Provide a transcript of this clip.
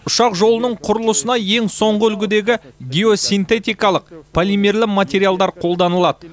ұшақ жолының құрылысына ең соңғы үлгідегі геосинтетикалық полимерлі материалдар қолданылады